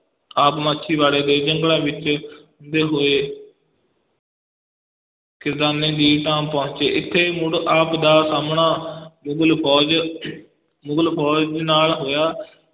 ਆਪ ਮਾਛੀਵਾੜੇ ਦੇ ਜੰਗਲਾਂ ਵਿੱਚ ਹੁੰਦੇ ਹੋਏ ਖਿਦਰਾਨੇ ਦੀ ਢਾਬ ਪਹੁੰਚੇ, ਇੱਥੇ ਮੁੜ ਆਪ ਦਾ ਸਾਹਮਣਾ ਮੁਗਲ ਫੌਜ ਮੁਗਲ ਫ਼ੌਜ ਦੇ ਨਾਲ ਹੋਇਆ।